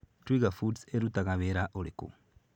Twiga Foods ĩrutaga wĩra ũrĩkũ?